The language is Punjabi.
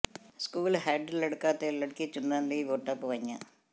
ਸਕੂਲ ਹੈੱਡ ਲੜਕਾ ਤੇ ਲੜਕੀ ਚੁਣਨ ਲਈ ਵੋਟਾਂ ਪਵਾਈਆਂ